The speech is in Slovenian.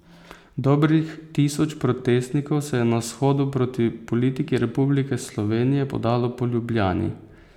Dobrih tisoč protestnikov se je na shodu proti politiki Republike Slovenije podalo po Ljubljani.